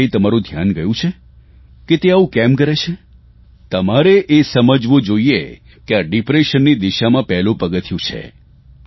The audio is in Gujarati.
કયારેય તમારૂં ધ્યાન ગયું છે કે તે આવું કેમ કરે છે તમારે એ સમજવું જોઇએ કે આ ડિપ્રેશનની દિશામાં પહેલું પગથિયું છે